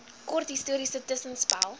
kort historiese tussenspel